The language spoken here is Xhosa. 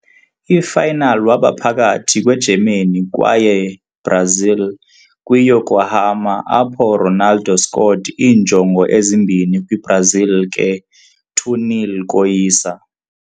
I - final waba phakathi kwe-Germany kwaye Brazil kwi - Yokohama, apho Ronaldo scored iinjongo ezimbini kwi-Brazil ke 2-0 koyisa.